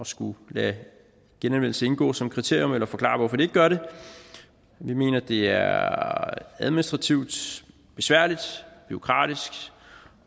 skulle lade genanvendelse indgår som kriterium eller forklare hvorfor de ikke gør det vi mener det er administrativt besværligt og bureaukratisk